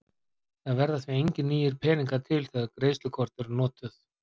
það verða því engir nýir peningar til þegar greiðslukort eru notuð